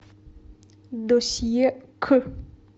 досье к